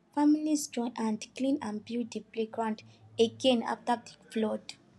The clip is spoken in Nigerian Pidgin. families join hand clean and build the playground again after the flood